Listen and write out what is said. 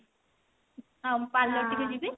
ଆଉ parlor ଟିକେ ଯିବି